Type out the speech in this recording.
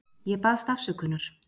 Ég baðst afsökunar.